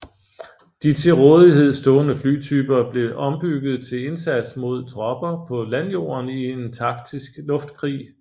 De til rådighed stående flytyper blev ombygget til indsats mod tropper på landjorden i en taktisk luftkrig